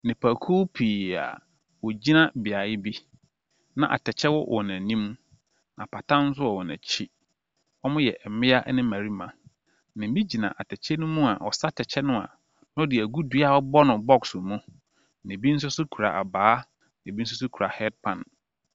Nnipakuw pii a wɔgyina beaeɛ bi. Na atɛkyɛ wɔ wɔn anim. Apata nso wɔ wɔn akyi. Wɔyɛ mmea ne mmarima. Na ebi gyina atɛkyɛ no mu a, ɔsa atɛkyɛ no a na ɔde agu dua a yɛabɔ no boɔ mu. Na ebi nso so kura abaa. Na ebi nso so kura head pan.